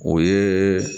O ye